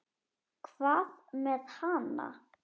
Hvað með hana?